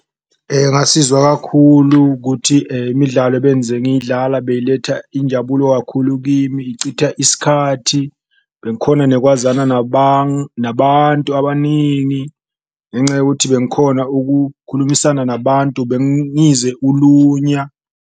Ngasizwa kakhulu kuthi imidlalo ngiyidlala beyiletha injabulo kakhulu kimi ngichitha isikhathi, bengikhona nekwazana nabantu abaningi, ngenca yokuthi bengikhona ukukhulumisana nabantu bengize ulunya.